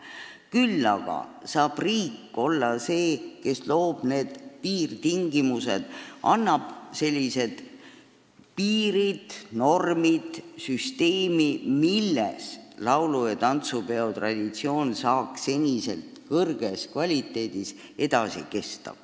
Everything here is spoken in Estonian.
Küll aga saab riik olla see, kes kehtestab piirtingimused, loob normid ja süsteemi, mille abil laulu- ja tantsupeo traditsioon saab senises kõrges kvaliteedis edasi kesta.